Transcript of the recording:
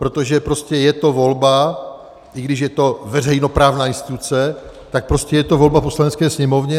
Protože prostě je to volba, i když je to veřejnoprávní instituce, tak prostě je to volba Poslanecké sněmovny.